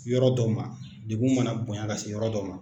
Yɔrɔ dɔw ma, degun mana bonya ka se yɔrɔ dɔw ma,